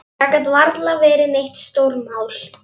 Það gat varla verið neitt stórmál.